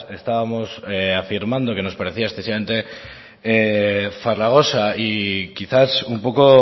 estábamos afirmando que nos parecía excesivamente farragosa y quizás un poco